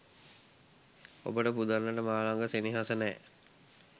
ඔබට පුදන්නට මා ලඟ සෙනෙහස නෑ.